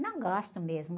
Não gosto mesmo.